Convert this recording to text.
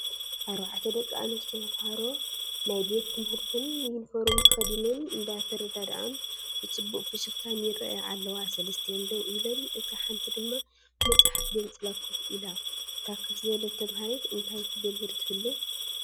4 ደቂ ኣንስትዮ ተምሃሮ ናይ ቤት ትምህርተን ዩኒፎርም ተኸዲነን እንዳተረዳድኣን ብፅቡቕ ፍሽኽታን ይራኣያ ኣለዋ፡፡ 3ቲአን ደው ኢለን እታ ሓንቲ ድማ መፅሓፍ ገንፂላ ከፍ ኢላ፡፡ እታ ከፍ ዝበለት ተማሃሪት እንታይ ትገብር ትህሉ?